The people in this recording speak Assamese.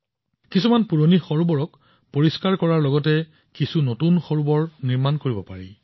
কিছুমান পুৰণি হ্ৰদ উন্নত কৰিব পাৰি কিছুমান নতুন হ্ৰদ নিৰ্মাণ কৰিব পাৰি